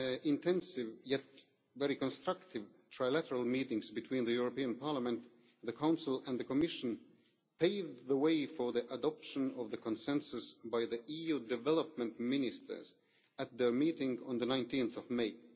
five intensive, yet very constructive, trilateral meetings between the European Parliament, the Council and the Commission, paved the way for the adoption of the consensus by the EU Development Ministers at their meeting of 19 May.